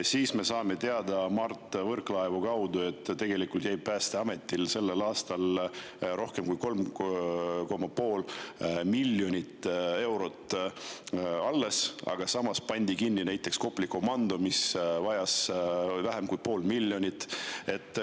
Siis me saame Mart Võrklaevalt teada, et tegelikult jäi Päästeametil sellel aastal rohkem kui 3,5 miljonit eurot alles, aga samas pandi kinni näiteks Kopli komando, mis vajas vähem kui 0,5 miljonit.